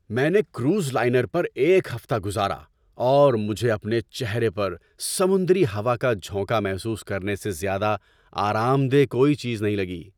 میں نے cruise liner پر ایک ہفتہ گزارا، اور مجھے اپنے چہرے پر سمندری ہوا کا جھونکا محسوس کرنے سے زیادہ آرام دہ کوئی چیز نہیں لگی۔